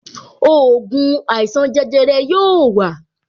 Ògùn àìsàn jẹjẹrẹ yóò wa